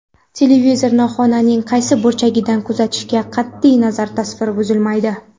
Televizorni xonaning qaysi burchagidan kuzatishdan qat’iy nazar, tasvir buzilmaydi.